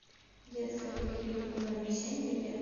детская поликлиника номер семь билет